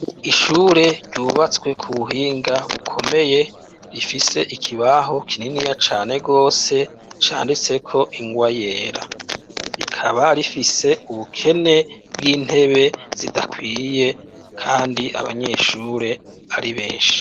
Ishure ryubatswe ku buhinga bukomeye rifise ikibaho kininiya cane gose canditse ko ingwa yera, rifise ubukene bw'intebe zidakwiye kandi abanyeshure ari benshi.